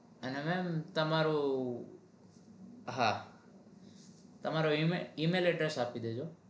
અને mem તમારું હા તમારો email email address આપી દેજો